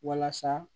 Walasa